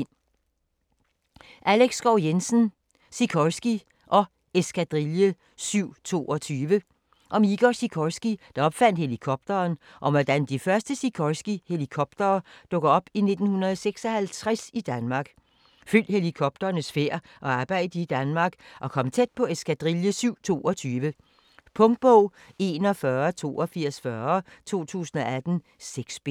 Schou Jensen, Alex: Sikorsky & Eskadrille 722 Om Igor Sikorsky, der opfandt helikopteren, og om hvordan de første Sikorsky helikoptere dukker op i 1956 i Danmark. Følg helikopternes færd og arbejde i Danmark, og kom tæt på Eskadrille 722. Punktbog 418240 2018. 6 bind.